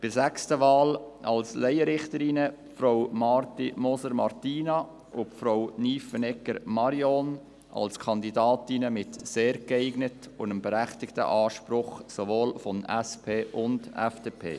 Bei der sechsten Wahl als Laienrichterinnen unterstützen wir Frau Martina Marti-Moser und Frau Marion Nyffenegger als Kandidatinnen mit «sehr geeignet» und dem berechtigten Anspruch sowohl seitens der SP als auch seitens der FDP.